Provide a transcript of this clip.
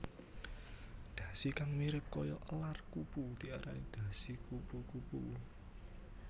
Dhasi kang mirip kaya elar kupu diarani dhasi kupu kupu